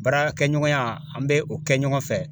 Baarakɛɲɔgɔnya an bɛ o kɛ ɲɔgɔn fɛ.